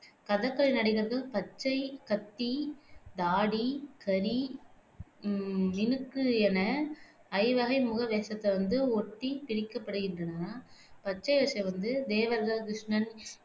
கதகளி நடிகர்கள் பச்சை, கத்தி, தாடி, கரி, ஹம் மினுக்கு என ஐவகை முக வேஷத்தை வந்து ஒட்டி பிரிக்கப் படுகின்றன பச்சை வேசம் வந்து தேவர்கள், கிருஷ்ணன்